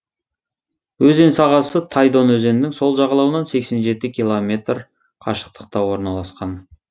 өзен сағасы тайдон өзенінің сол жағалауынан сексен жеті километр қашықтықта орналасқан